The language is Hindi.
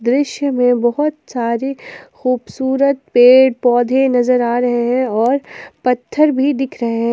दृश्य में बहुत सारी खूबसूरत पेड़ पौधे नजर आ रहे हैं और पत्थर भी दिख रहे हैं।